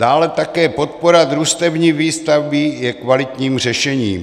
Dále také podpora družstevní výstavby je kvalitním řešením.